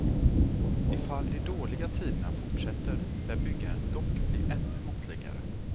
I fall de dåliga tiderna fortsätter lär byggandet dock bli ännu måttligare.